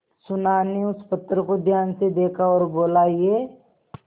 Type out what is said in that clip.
सुनार ने उस पत्थर को ध्यान से देखा और बोला ये